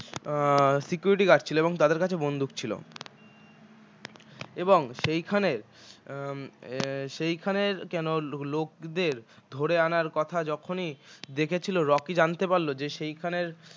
উম security guard ছিল এবং তাদের কাছে বন্দুক ছিল এবং সেইখানের উম সেইখানের কেন লোকদের ধরে আনার কথা যখনই দেখেছিলো রকি জানতে পারল যে সেখানের